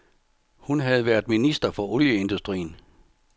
Hun havde været minister for olieindustrien.